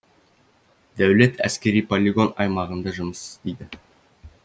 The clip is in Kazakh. дәулет әскери полигон аймағында жұмыс істейді